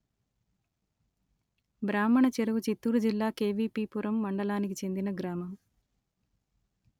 బ్రాహ్మణ చెరువు చిత్తూరు జిల్లా కెవీపీ పురం మండలానికి చెందిన గ్రామము